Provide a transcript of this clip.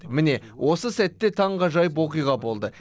міне осы сәтте таңғажайып оқиға болды